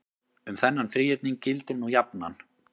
um þennan þríhyrning gildir nú jafnan